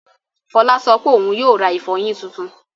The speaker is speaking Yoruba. Fọlá sọ pé òun yóò ra ìfọyín tuntun.